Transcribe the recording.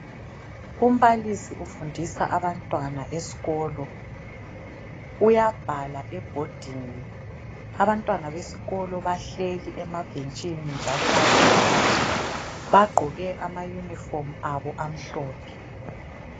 Umbalisi ufundisa abantwana esikolo. Uyabhala ebhodini, abantwana besikolo bahleli emabhentshini njalo bayabhala. Bagqoke ama uniform abo amhlophe.